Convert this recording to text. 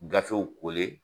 Gafew